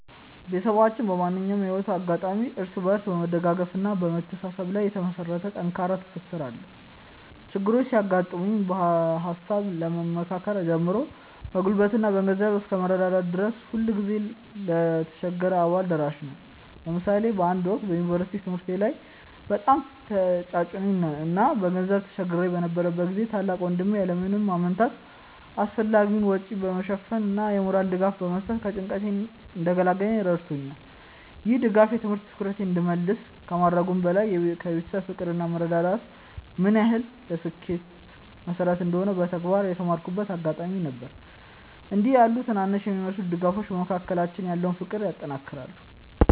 ቤተሰባችን በማንኛውም የህይወት አጋጣሚ እርስ በርስ በመደጋገፍና በመተሳሰብ ላይ የተመሰረተ ጠንካራ ትስስር አለው። ችግሮች ሲያጋጥሙ በሃሳብ ከመመካከር ጀምሮ በጉልበትና በገንዘብ እስከ መረዳዳት ድረስ ሁልጊዜም ለተቸገረው አባል ደራሽ ነን። ለምሳሌ በአንድ ወቅት በዩኒቨርሲቲ ትምህርቴ ላይ በጣም ተጭኖኝ እና በገንዘብ ተቸግሬ በነበረበት ጊዜ ታላቅ ወንድሜ ያለ ምንም ማመንታት አስፈላጊውን ወጪ በመሸፈን እና የሞራል ድጋፍ በመስጠት ከጭንቀቴ እንድገላገል ረድቶኛል። ይህ ድጋፍ የትምህርት ትኩረቴን እንድመልስ ከማድረጉም በላይ የቤተሰብ ፍቅር እና መረዳዳት ምን ያህል ለስኬት መሰረት እንደሆነ በተግባር የተማርኩበት አጋጣሚ ነበር። እንዲህ ያሉ ትናንሽ የሚመስሉ ድጋፎች በመካከላችን ያለውን ፍቅር ያጠናክራሉ።